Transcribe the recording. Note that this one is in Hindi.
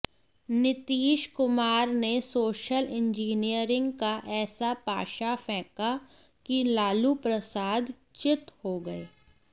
नीतीश कुमार ने सोशल इंजीनियरिंग का ऐसा पाशा फेंका कि लालू प्रसाद चित हो गए